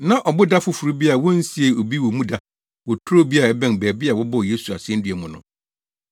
Na ɔboda foforo bi a wonsiee obi wɔ mu da wɔ turo bi a ɛbɛn baabi a wɔbɔɔ Yesu asennua mu no.